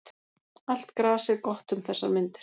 Allt gras er gott um þessar mundir.